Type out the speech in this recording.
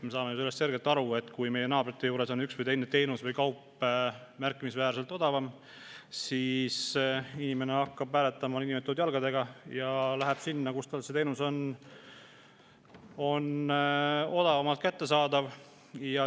Me saame sellest ju selgelt aru, et kui meie naabrite juures on üks või teine teenus või kaup märkimisväärselt odavam, siis inimene hakkab nii-öelda hääletama jalgadega ja läheb sinna, kus teenus on odavamalt kättesaadav.